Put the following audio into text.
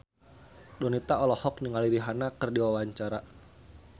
Donita olohok ningali Rihanna keur diwawancara